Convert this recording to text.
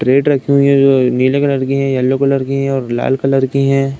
Carat रखीं हुई हैं। नीले कलर की हैं येलो कलर की हैं और लाल कलर की हैं।